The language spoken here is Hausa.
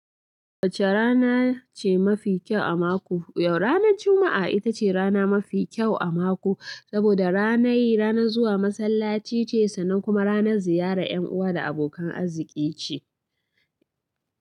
Wacce rana ce mafi kyau a mako? Yau ranar Juma'a ita ce rana mafi kyau a mako, saboda ranai ranar zuwa masallaci ce sannan kuma ranar ziyarar 'yan uwa da abokan arziki ce.